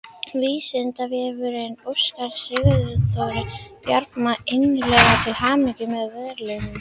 Vísindavefurinn óskar Sigþóri Bjarma innilega til hamingju með verðlaunin!